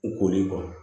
U koli kuwa